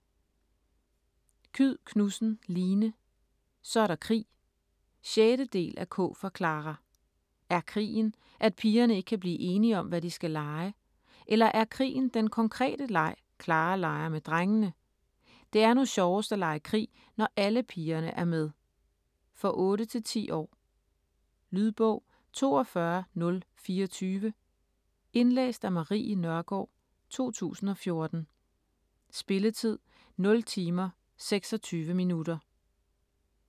Kyed Knudsen, Line: Så er der krig! 6. del af K for Klara. Er krigen, at pigerne ikke kan blive enige om hvad de skal lege? Eller er krigen den konkrete leg Klara leger med drengene? Det er nu sjovest at lege krig når alle pigerne er med. For 8-10 år. Lydbog 42024 Indlæst af Marie Nørgaard, 2014. Spilletid: 0 timer, 26 minutter.